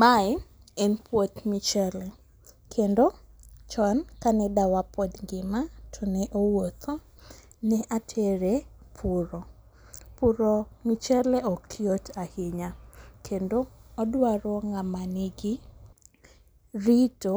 Mae en puoth michele, kendo chon kane dawa pod ngima to ne owuotho ne atere puro, puro mchele ok yot ahinya, kndo odwaro ng'ama nigi rito